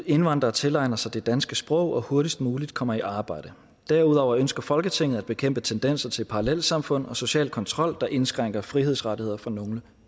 indvandrere tilegner sig det danske sprog og hurtigst muligt kommer i arbejde derudover ønsker folketinget at bekæmpe tendenser til parallelsamfund og social kontrol der indskrænker frihedsrettigheder for nogle